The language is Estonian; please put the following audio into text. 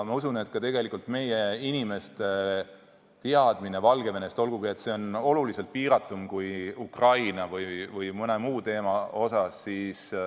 Ma usun, et ka meie inimeste teadmised Valgevenes toimuvast on paranenud, olgugi et need on oluliselt piiratumad kui Ukraina või mõne muu teema puhul.